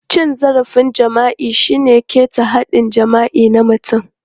Cin zarafin jima'i shine ƙeta haɗɗin jima'i na mutum.